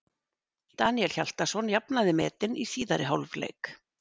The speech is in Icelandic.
Daníel Hjaltason jafnaði metin í síðari hálfleik.